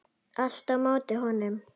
Allt á móti honum.